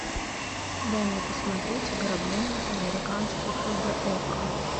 дай мне посмотреть ограбление по американски хэ дэ окко